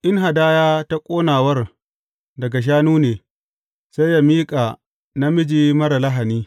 In hadaya ta ƙonawar daga shanu ne, sai yă miƙa namiji marar lahani.